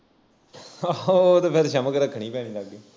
ਆਹੋ ਉਹ ਤੇ ਫਿਰ ਛਮਕ ਰੱਖਣੀ ਪੈਣੀ ਲਾਗੇ